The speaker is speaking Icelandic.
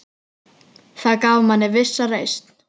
Það gaf manni vissa reisn.